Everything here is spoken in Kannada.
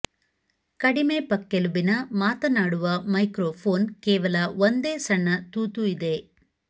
ಕಡಿಮೆ ಪಕ್ಕೆಲುಬಿನ ಮಾತನಾಡುವ ಮೈಕ್ರೊಫೋನ್ ಕೇವಲ ಒಂದೇ ಸಣ್ಣ ತೂತು ಇದೆ